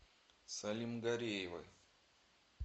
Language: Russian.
салимгареевой